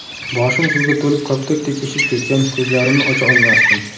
Boshim suvga to‘lib koptokdek ishib ketgan, ko‘zlarimni ocha olmasdim.